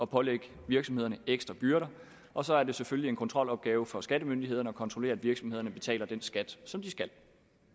pålægge virksomhederne ekstra byrder og så er det selvfølgelig en kontrolopgave for skattemyndighederne at kontrollere at virksomhederne betaler den skat som de skal